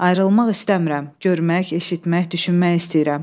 Ayrılmaq istəmirəm, görmək, eşitmək, düşünmək istəyirəm.